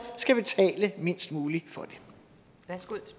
skal betale mindst muligt